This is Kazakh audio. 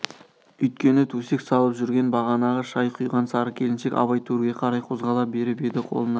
үйткені төсек салып жүрген бағанағы шай құйған сары келіншек абай төрге қарай қозғала беріп еді қолына